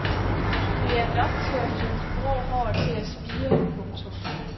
Det er nok til at få de grå hår til at spire. punktum